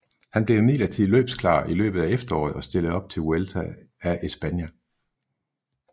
Han blev imidlertid løbsklar i løbet af efteråret og stillede op i Vuelta a España